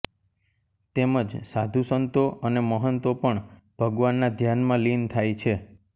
તેમજ સાધુસંતો અને મહંતો પણ ભગવાનનાં ધ્યાનમાં લીન થાય છે